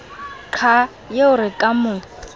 qha eo re ka mo